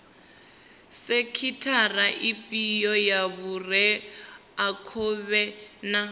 sekhithara ifhio ya vhureakhovhe na